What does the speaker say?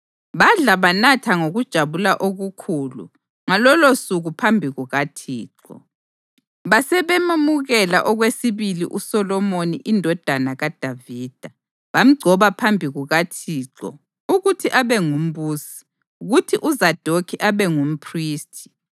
Badla banatha ngokujabula okukhulu ngalolosuku phambi kukaThixo. Basebememukela okwesibili uSolomoni indodana kaDavida, bamgcoba phambi kukaThixo ukuthi abe ngumbusi, kuthi uZadokhi abe ngumphristi.